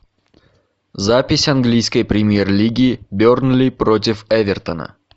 запись английской премьер лиги бернли против эвертона